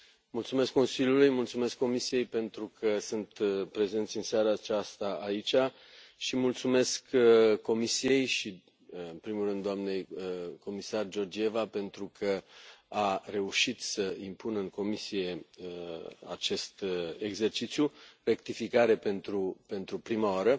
Mulțumesc Consiliului, mulțumesc Comisiei pentru că sunt prezenți în seara aceasta aici și mulțumesc Comisiei și în primul rând doamnei comisar Georgieva pentru că a reușit să impună în Comisie acest exercițiu, rectificare, pentru prima oară